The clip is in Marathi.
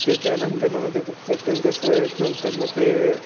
त्याच्यानंतर ते पण कसं नंतर ते